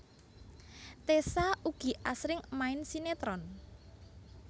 Tessa ugi asring main sinetron